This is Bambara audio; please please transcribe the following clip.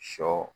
Sɔ